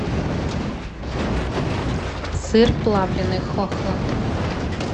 сыр плавленный хохланд